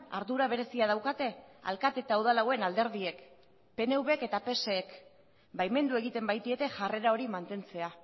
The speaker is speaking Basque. ardura berezia daukate alkate eta udal hauen alderdiek pnvk eta psek baimendu egiten baitiete jarrera hori mantentzea